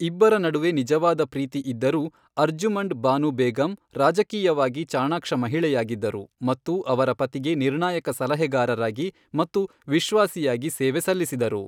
ಇಬ್ಬರ ನಡುವೆ ನಿಜವಾದ ಪ್ರೀತಿ ಇದ್ದರೂ, ಅರ್ಜುಮಂಡ್ ಬಾನು ಬೇಗಂ ರಾಜಕೀಯವಾಗಿ ಚಾಣಾಕ್ಷ ಮಹಿಳೆಯಾಗಿದ್ದರು ಮತ್ತು ಅವರ ಪತಿಗೆ ನಿರ್ಣಾಯಕ ಸಲಹೆಗಾರರಾಗಿ ಮತ್ತು ವಿಶ್ವಾಸಿಯಾಗಿ ಸೇವೆ ಸಲ್ಲಿಸಿದರು.